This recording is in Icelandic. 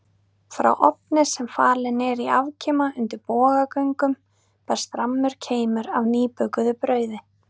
Frá ofni sem falinn er í afkima undir bogagöngum berst rammur keimur af nýbökuðu brauði.